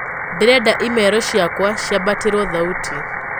ndĩrenda imero cĩakwa ciambatirwo thaũtĩ